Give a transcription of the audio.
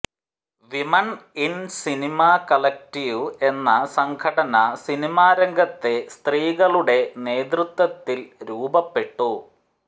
women in cinema collective എന്ന സംഘടന cinema രംഗത്തെ സ്ത്രീകളുടെ നേതൃത്വത്തിൽ രൂപപ്പെട്ടു